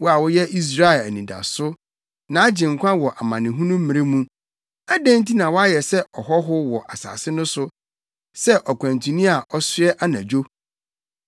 Wo a woyɛ Israel Anidaso, nʼAgyenkwa wɔ amanehunu mmere mu, adɛn nti na woayɛ sɛ ɔhɔho wɔ asase no so, sɛ ɔkwantuni a ɔsoɛ anadwo?